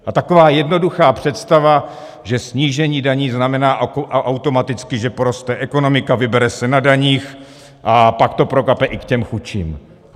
A taková jednoduchá představa, že snížení daní znamená automaticky, že poroste ekonomika, vybere se na daních a pak to prokape i k těm chudším.